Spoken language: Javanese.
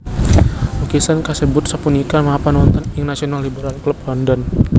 Lukisan kasebut sapunika mapan wonten ing National Liberal Club London